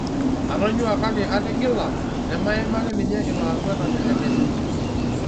Atonyua kake atigila'' naimaki ninye ilo akwetani le kenya.